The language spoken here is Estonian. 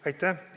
Aitäh!